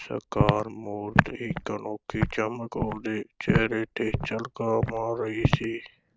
ਸਾਕਾਰ ਮੂਰਤ ਇਕ ਅਨੋਖੀ ਚਮਕ ਉਹਦੇ ਚਿਹਰੇ ’ਤੇ ਝਲਕਾਂ ਮਾਰ ਰਹੀ ਸੀ।